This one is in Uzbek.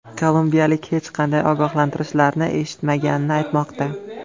Kolumbiyalik hech qanday ogohlantirishlarni eshitmaganini aytmoqda.